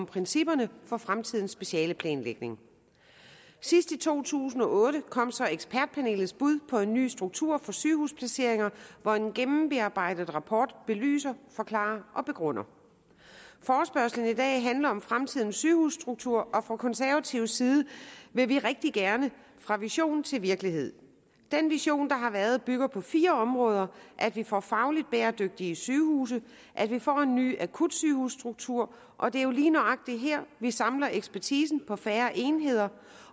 principperne for fremtidens specialeplanlægning sidst i to tusind og otte kom så ekspertpanelets bud på en ny struktur for sygehusplaceringer hvor en gennembearbejdet rapport belyser forklarer og begrunder forespørgslen i dag handler om fremtidens sygehusstruktur og fra konservativ side vil vi rigtig gerne fra vision til virkelighed den vision der har været bygger på fire områder at vi får fagligt bæredygtige sygehuse at vi får en ny akutsygehusstruktur og det er jo lige nøjagtig her vi samler ekspertisen på færre enheder